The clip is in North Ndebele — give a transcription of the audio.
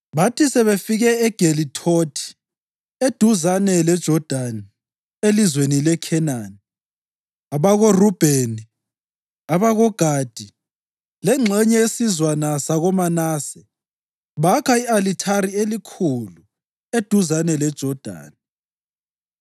Bathi sebefike eGelithothi eduzane leJodani elizweni leKhenani, abakoRubheni, abakoGadi lengxenye yesizwana sakoManase bakha i-alithari elikhulu eduzane leJodani.